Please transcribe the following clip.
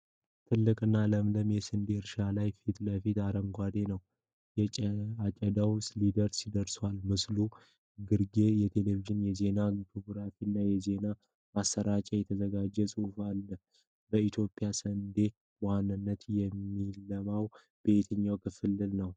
ትልቅና ለምለም የስንዴ እርሻ ፊት ለፊት ሰፊ አረንጓዴ ነው። አጨዳው ሊደርስ ደርሷል። በምስሉ ግርጌ የቴሌቪዥን የዜና ግራፊክስ እና በዜና ማሰራጫ የተዘጋጀ ጽሑፍ አሉ። በኢትዮጵያ ስንዴ በዋነኝነት የሚለማው በየትኛው ክልል ነው?